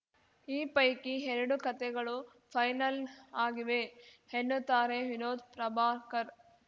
ಈ ಪೈಕಿ ಎರಡು ಕತೆಗಳು ಫೈನಲ್‌ ಆಗಿವೆ ಎನ್ನುತ್ತಾರೆ ವಿನೋದ್‌ ಪ್ರಭಾಕರ್‌